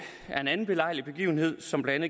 er en anden belejlig begivenhed som blandt